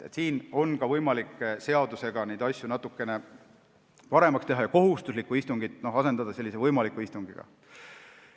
Seadusega on võimalik neid asju natukene paremaks teha ja kohustuslik istung asendada võimaliku istungiga.